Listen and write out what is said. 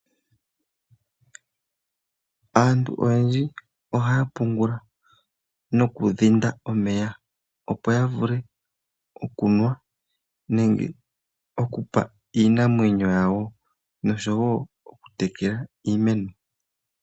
Aantu oyendji ohaya pungula nokudhinda omeya opo yavule okunwa nenge okupa iinamwenyo yawo noshowoo okutekela iimeno.